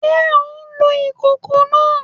Ṣe o ǹ lo ìkòkò náà?